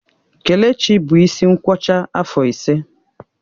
Kelechi bụ isi nkwọcha afọ ise